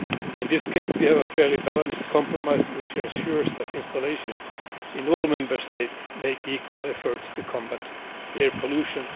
In this case we have a fairly balanced compromise which ensures that installations in all Member States make equal efforts to combat air pollution.